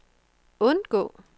undgå